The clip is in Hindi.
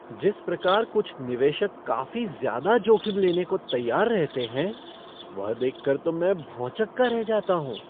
जिस प्रकार कुछ निवेशक काफी ज्यादा जोखिम लेने को तैयार रहते है, वह देख कर तो मैं भौंचक्का रह जाता हूँ।